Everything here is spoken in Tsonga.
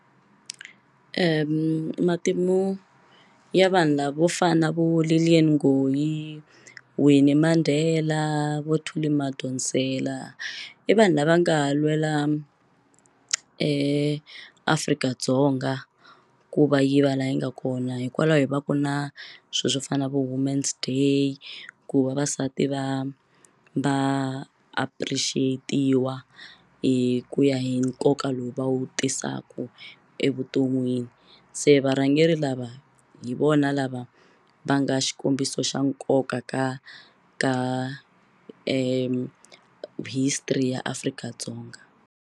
Matimu ya vanhu lavo fana na vo Lillian Ngoyi Winny Mandela vo Thuli Madonsela i vanhu lava nga lwela Afrika-Dzonga ku va yi va laha yi nga kona hikwalaho va ku na swilo swo fana na vo Women's Day ku vavasati va va appreciate-iwa hi ku ya hi nkoka lowu va wu tisaka evuton'wini se varhangeri lava hi vona lava va nga xikombiso xa nkoka ka ka history ya Afrika-Dzonga.